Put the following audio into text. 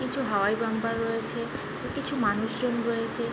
কিছু হাওয়াই বাম্পার রয়েছে। কিছু মানুষজন রয়েছে।